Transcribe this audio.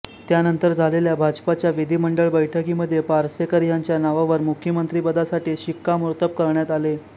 त्यानंतर झालेल्या भाजपच्या विधिमंडळ बैठकीमध्ये पार्सेकर ह्यांच्या नावावर मुख्यमंत्रीपदासाठी शिक्कामोर्तब करण्यात आले